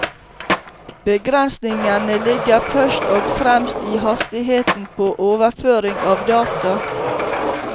Begrensningene ligger først og fremst i hastigheten på overføring av data.